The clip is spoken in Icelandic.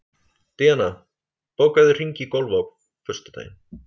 Díanna, bókaðu hring í golf á föstudaginn.